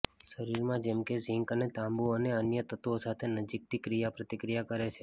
શરીરમાં જેમ કે ઝીંક અને તાંબુ અને અન્ય તત્વો સાથે નજીકથી ક્રિયાપ્રતિક્રિયા કરે છે